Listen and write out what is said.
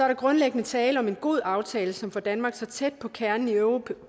der grundlæggende tale om en god aftale som får danmark så tæt på kernen i europol